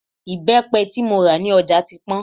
Ìbẹ́pẹ tí mo rà ní ọjà ti pọ́n